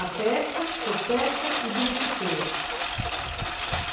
A pesca, você pesca e beneficia.